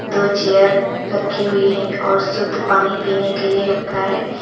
दो चेयर रखी हुई है और शुद्ध पानी पीने के लिए रखा है।